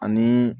Ani